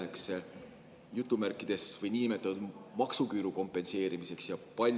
Kui palju läheks niinimetatud maksuküüru kompenseerimiseks?